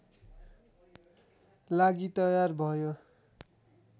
लागि तयार भयो